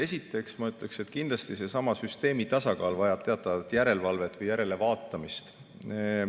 Esiteks ütleksin, et kindlasti vajab seesama süsteemi tasakaal teatavat järelevalvet või järelevaatamist.